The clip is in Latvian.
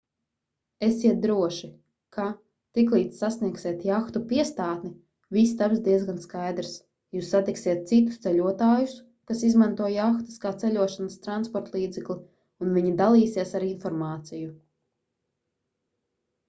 esiet droši ka tiklīdz sasniegsiet jahtu piestātni viss taps diezgan skaidrs jūs satiksiet citus ceļotājus kas izmanto jahtas kā ceļošanas transportlīdzekli un viņi dalīsies ar informāciju